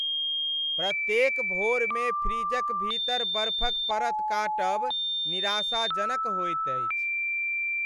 प्रत्येक भोरमे फ्रिजक भीतर बर्फक परत काटब निराशाजनक होएत अछि।